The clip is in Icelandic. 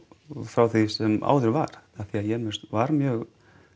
frá því sem áður var af því að Jemen var mjög